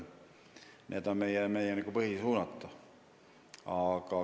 Need on meie põhisuunad.